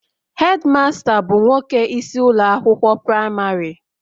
Hedimasta bụ nwoke isi ụlọ akwụkwọ praịmarị